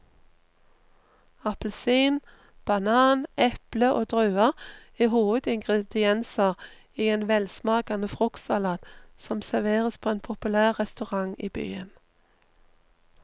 Appelsin, banan, eple og druer er hovedingredienser i en velsmakende fruktsalat som serveres på en populær restaurant i byen.